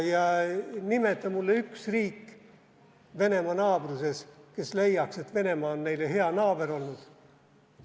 Nimeta mulle üks riik Venemaa naabruses, kes leiaks, et Venemaa on neile hea naaber olnud.